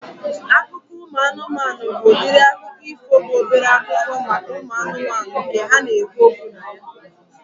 Akụkọ ụmụ anụmanụ bụ udiri akụkọ ifo bụ obere akụkọ maka ụmụ anụmanụ nke ha na-ekwu okwu na ya